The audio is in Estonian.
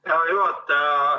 Hea juhataja!